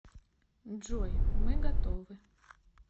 джой мы готовы